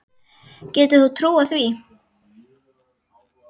Getur þú trúað því?